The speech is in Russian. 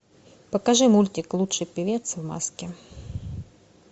покажи мультик лучший певец в маске